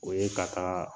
O ye ka taa